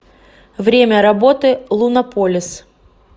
время работы лунополис